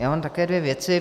Já mám také dvě věci.